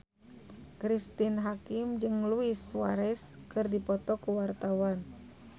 Cristine Hakim jeung Luis Suarez keur dipoto ku wartawan